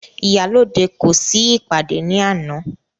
Ìyálóde kò sí ìpàdé ní àná..